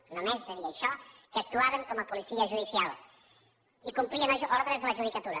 només de dir això que actuaven com a policia judicial i que complien ordres de la judicatura